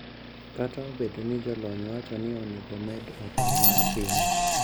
Kata obedo ni jolony wacho ni owinjo omed okang` mar pim.